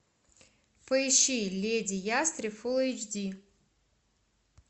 поищи леди ястреб фулл эйч ди